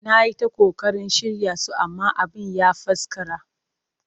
Na yi ta ƙoƙarin shirya su amma abin ya faskara